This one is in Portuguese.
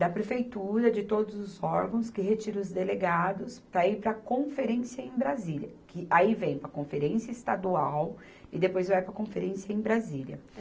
da Prefeitura, de todos os órgãos que retira os delegados para ir para a conferência em Brasília, que aí vem a conferência estadual e depois vai para a conferência em Brasília.